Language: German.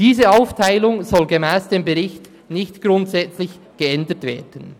Diese Aufteilung soll gemäss dem Bericht nicht grundsätzlich geändert werden.